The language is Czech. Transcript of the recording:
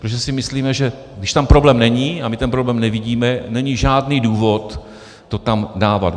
Protože si myslíme, že když tam problém není, a my ten problém nevidíme, není žádný důvod to tam dávat.